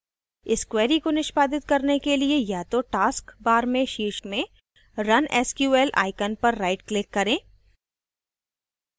इस query को निष्पादित करने के लिए या तो task bar के शीर्ष में run sql icon पर rightclick करें